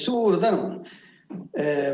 Suur tänu!